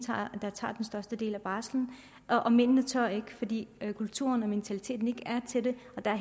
der tager den største del af barslen og mændene tør ikke fordi kulturen og mentaliteten ikke er til det og der